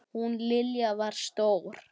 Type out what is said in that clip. Hún Lilja var stór.